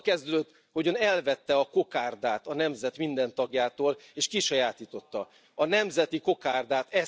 Ez azzal kezdődött, hogy Ön elvette a kokárdát a nemzet minden tagjától, és kisajátította a nemzeti kokárdát.